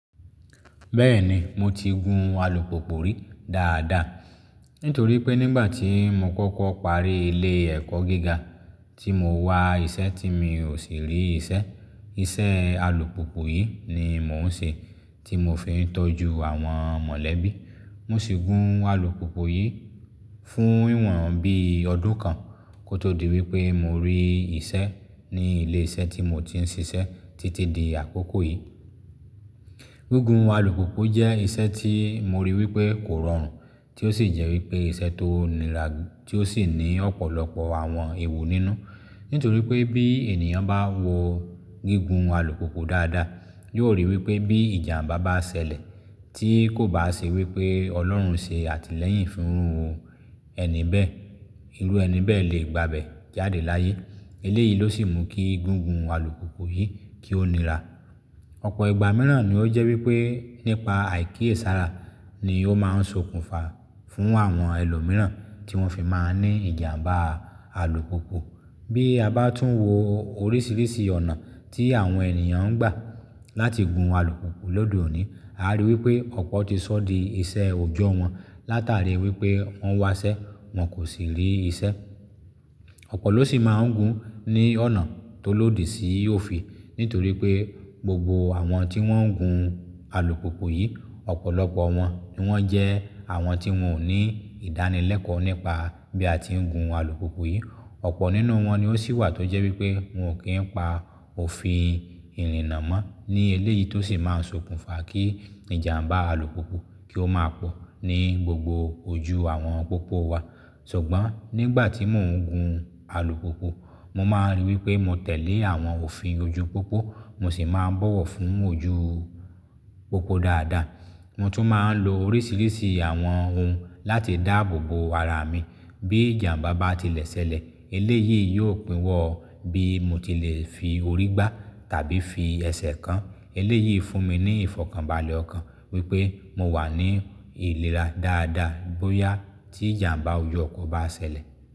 Bẹ́ẹ̀ni mo ti gun alùpùpù rí dáadáa, nítorí pé nígbà tí mo kọ́kọ́ parí ilé ẹ̀kọ́ gíga tí mo wà iṣẹ́ tí mi ò sì rí iṣẹ́, iṣẹ́ alùpùpù yìí ni mò ń ṣe tí mo fi ń tọ́jú àwọn mọ̀lẹ́bí. Mo sì gun alùpùpù yìí fún ìwọ̀n bí ọdún kan kó tó di wípé mo rí iṣẹ́ ní ilé iṣẹ́ tí mo ti ń ṣiṣẹ́ títí di àkókò yìí. Gígùn alùpùpù jẹ́ ìṣe tí mo rí wípé kò rọrùn tí ó sì jẹ́ wípé ìṣe tó nira tí ó sì ní ọ̀pọ̀lọpọ̀ àwọn èèwu nínú. Nítorí pé bí ènìyàn bá wo gígùn alùpùpù dáadáa, yóò ríi wípé bí ìjàǹbá bá ṣẹlẹ̀ tí kò bá ṣe wípé Ọlọ́run ṣe àtìlẹ́yìn fún ẹni bẹ́ẹ̀, irú ẹni bẹ́ẹ̀ lè gbabe jáde láyé. Eléyìí ló sì mú kí gígùn alùpùpù yìí kí ó nira. Ọ̀pọ̀ ìgbà mìíràn ni ó jẹ́ wípé nípa àìkíyèsára ni ó máa ń sokùnfà fún àwọn ẹlòmíràn tí wọ́n fi máa ń ní ìjàǹbá alùpùpù. Bí a bá tún wo oríṣiríṣi ọ̀nà tí àwọn ènìyàn ń gbà láti gun alùpùpù lode òní, a rí i wípé ọ̀pọ̀ ti sọ́ di iṣẹ́ ojo wọn látàrí wípé wọ́n wá iṣẹ́ wọ́n kò sì rí iṣẹ́. Ọ̀pọ̀ ló sì máa ń gun ní ọ̀nà tó lòdì sí òfin. Nítorí pé gbogbo àwọn tí wọ́n ń gun alùpùpù yìí, ọ̀pọ̀lọpọ̀ wọn ni wọ́n jẹ́ àwọn tí wọn ò ní ìdánilẹ́kọ̀ọ́ nípa bí a ti ń gun alùpùpù yìí. Ọ̀pọ̀ nínú wọn ni ó sì wà tó jẹ́ wípé wọn ò kí ń pa òfin ìrìnnà mọ́ ní eléyìí tó sì máa ń sokùnfà kí ìjàǹbá alùpùpù kí ó máa pọ̀ ní gbogbo ojú àwọn pópó wa. Ṣùgbọ́n nígbà tí mò ń gun alùpùpù, mo máa ń rí wípé mo tẹ̀lé àwọn òfin ojú pópó mo sì máa ń bọ̀wọ̀ fún ojú pópó dáadáa. Mo tún máa ń lo oríṣiríṣi àwọn ohun láti dáàbò bo ara mi. Bí ìjàǹbá bá ti lẹ̀ ṣẹlẹ̀ eléyìí yóò pínwọ́ bí mo ti lè fi orí gbá tàbí fi ẹsẹ̀ kàn. Eléyìí fún mi ní ìfọ̀kànbalẹ̀ ọ̀kan wípé mo wà ní ìlera dáadáa bóyá tí ìjàǹbá ojú ọkọ̀ bá ṣẹlẹ̀.